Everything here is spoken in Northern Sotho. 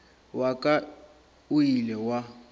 wa ka o ile wa